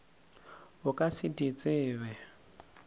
o ka se di tsebe